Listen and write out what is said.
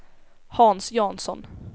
Hans Jansson